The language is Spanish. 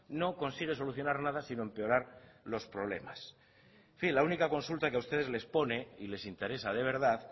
no consigue solucionar nada sino empeorar los problemas en fin la única consulta que a ustedes les pone y les interesa de verdad